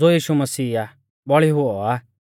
ज़ो यीशु मसीह आ बौल़ी हुऔ आ